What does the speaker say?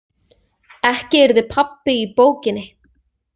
Ekki yrði pabbi í bókinni.